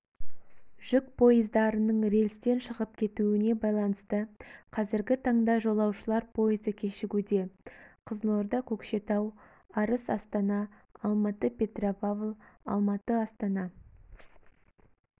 жүк пойыздарының рельстен шығып кетуіне байланысты қазіргі таңда жолаушылар пойызы кешігуде қызылорда-көкшетау арыс астана алматы-петропавл алматы-астана